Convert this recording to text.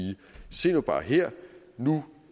se nu bare her nu